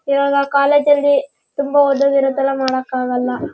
ಈವಾಗ ಕಾಲೇಜು ಅಲ್ಲಿ ತುಂಬಾ ಓದೋದು ಇರುತ್ತಲ್ಲ ಮಾಡೋಕ್ ಆಗಲ್ಲ.